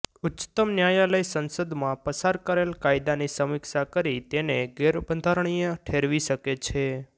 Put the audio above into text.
ઉચ્ચતમ ન્યાયાલય સંસદમાં પસાર કરેલ કાયદાની સમીક્ષા કરી તેને ગેરબંધારણીય ઠેરવી શકે છે